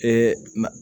Ee ma